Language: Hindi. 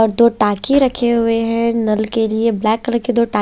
और दो टाके रखे हुए है नल के लिए ब्लैक कलर के दो टा--